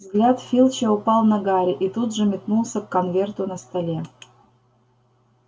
взгляд филча упал на гарри и тут же метнулся к конверту на столе